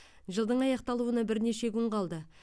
жылдың аяқталуына бірнеше күн қалды